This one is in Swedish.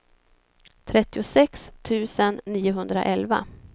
trettiosex tusen niohundraelva